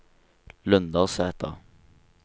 Lundersæter